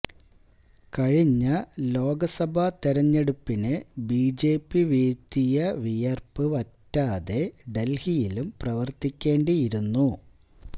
കഴിഞ്ഞ ലോക്സഭാ തിരഞ്ഞെടുപ്പിന് ബി ജെ പി വീഴ്ത്തിയ വിയര്പ്പ് വറ്റാതെ ഡല്ഹിയിലും പ്രവര്ത്തിക്കേണ്ടിയിരുന്നു